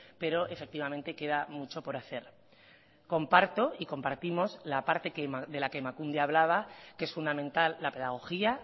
pero efectivamente queda mucho por hacer comparto y compartimos la parte de la que emakunde ha hablaba que es fundamental la pedagogía